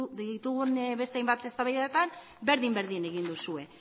ditugun beste hainbat eztabaidatan berdin berdin egin duzue